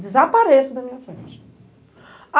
Desapareça da minha frente.